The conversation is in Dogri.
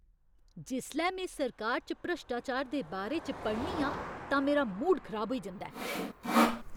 जिसलै में सरकार च भ्रश्टाचार दे बारे च पढ़नी आं तां मेरा मूड खराब होई जंदा ऐ।